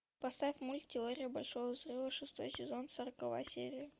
поставь мульт теория большого взрыва шестой сезон сороковая серия